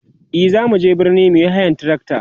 e zamu je birni muyi hayan trakta